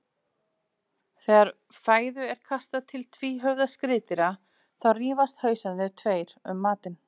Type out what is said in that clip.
Þegar fæðu er kastað til tvíhöfða skriðdýra þá rífast hausarnir tveir um matinn.